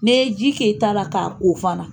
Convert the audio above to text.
N'i ye ji k'i tara k'a ko fana